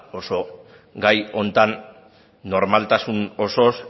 oso gai honetan normaltasun osoz